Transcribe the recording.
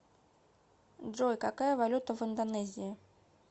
джой какая валюта в индонезии